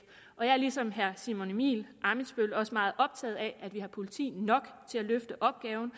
og jeg er ligesom herre simon emil ammitzbøll også meget optaget af at vi har politi nok til at løfte opgaven